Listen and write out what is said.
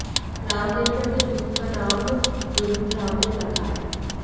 रामदेव ने अपने दूध का नाम दुग्धामृत रखा है